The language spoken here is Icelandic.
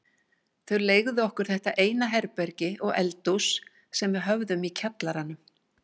Þau leigðu okkur þetta eina herbergi og eldhús sem við höfðum í kjallaranum.